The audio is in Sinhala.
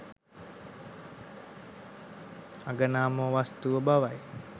අගනාම වස්තුව බවයි.